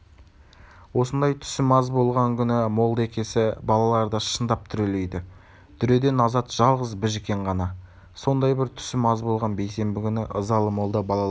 осындай түсім аз болған күні молда-екесі балаларды шындап дүрелейді дүреден азат жалғыз біжікен ғана сондай бір түсім аз болған бейсенбі күні ызалы молда балаларға